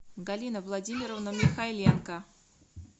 галина владимировна михайленко